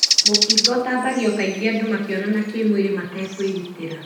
Mũkingo ũtambagĩo kaingĩ andũ makĩonana kĩmwĩrĩ matekwĩgitĩra.